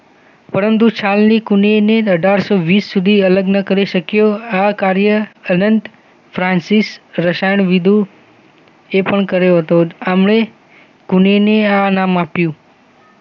પરંતુ છાલની કૂંડીની અઢાર સૌ વીસ સુધી અલગ ન કરી શકયો આ કાર્યા અલન્ટ ફ્રાન્સિસ રસાયણવિધુ એ પણ કર્યો હતો આમણે કૂંડીની આ નામ આપ્યું